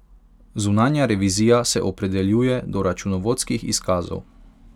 Zunanja revizija se opredeljuje do računovodskih izkazov.